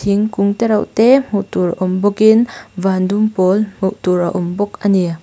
thingkung tereuh te hmuh tur awm bawk in van dum pawl hmuh tur a awm bawk a ni.